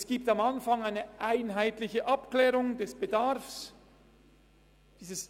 Es findet am Anfang eine einheitliche Abklärung des Bedarfs statt.